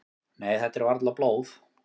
"""Nei, þetta er varla blóð."""